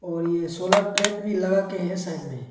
और ये solar plate भी लगाके है साइड में।